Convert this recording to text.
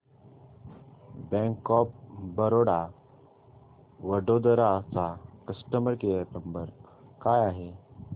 bank of Baroda Vadodara चा customer care number काय आहे